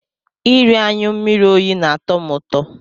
Iri anyụ mmiri oyi na-atọ m ụtọ.